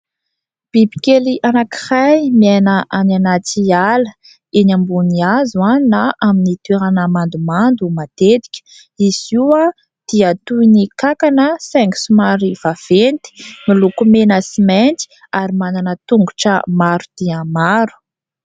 Bibikely anankiray miaina any anaty ala, eny ambony hazo na amin'ny toerana mandomando matetika, izy io dia toy ny kankana saingy somary vaventy, miloko mena sy mainty ary manana tongotra maro dia maro.